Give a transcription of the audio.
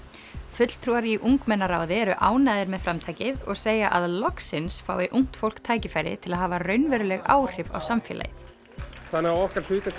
fulltrúar í ungmennaráði eru ánægðir með framtakið og segja að loksins fái ungt fólk tækifæri til að hafa raunveruleg áhrif á samfélagið þannig að okkar hlutverk